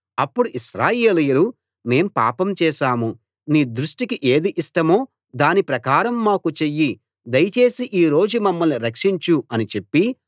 అప్పుడు ఇశ్రాయేలీయులు మేము పాపం చేశాము నీ దృష్టికి ఏది ఇష్టమో దాని ప్రకారం మాకు చెయ్యి దయచేసి ఈ రోజు మమ్మల్ని రక్షించు అని చెప్పి